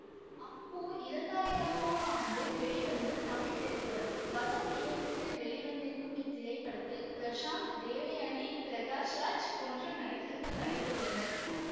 அப்பு இரண்டாயிரம் ஆம் ஆண்டுடா வெளிவந்த தமிழ் திரைப்படம் வசந்த் இயக்கத்தில் வெளிவந்திருக்கும் இத்திரைப்படத்தில் பிரசாந்த் தேவயானி பிரகாஷ்ராஜ் போன்ற நடிகர்கள் நடித்துள்ளனர்